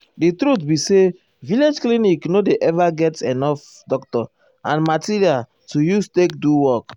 di truth um be say village clinic nor dey ever get enough doctor and material to use take do work.